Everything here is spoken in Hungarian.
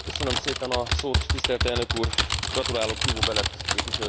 Gratulálok Ivo Belet képviselőtársamnak, kiváló munkát végzett.